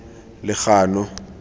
legano